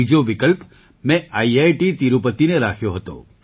બીજો વિકલ્પ મેં આઈઆઈટી તિરુપતિને રાખ્યો હતો